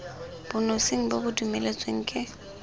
bonosing bo bo dumeletsweng ke